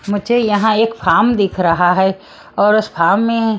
मुझे यहां एक फार्म दिख रहा है और उस फार्म में--